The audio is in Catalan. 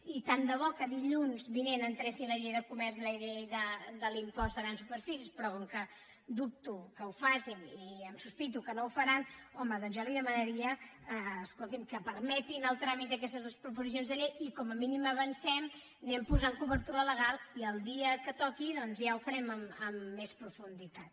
i tant de bo que dilluns vinent entressin la llei de comerç i la llei de l’impost de grans superfícies però com que dubto que ho facin i sospito que no ho faran home jo li demanaria escolti’m que permetin el tràmit d’aquestes dues proposicions de llei i com a mínim avancem anem posant cobertura legal i el dia que toqui ja ho farem amb més profunditat